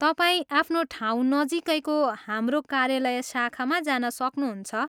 तपाईँ आफ्नो ठाउँ नजिकैको हाम्रो कार्यालय शाखामा जान सक्नुहुन्छ।